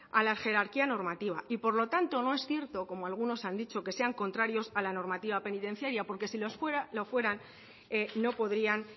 a la jerarquía normativa y por lo tanto no es cierto como algunos han dicho que sean contrarios a la normativa penitenciaria porque si lo fueran no podrían